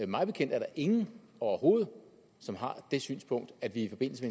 mig bekendt er der ingen overhovedet som har det synspunkt at vi i forbindelse